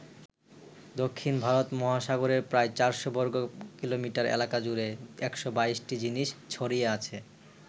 দক্ষিণ ভারত মহাসাগরের প্রায় চারশো বর্গকিলোমিটার এলাকা জুড়ে ১২২টি জিনিস ছড়িয়ে আছে।